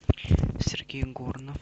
сергей горнов